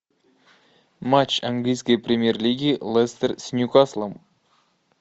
матч английской премьер лиги лестер с ньюкаслом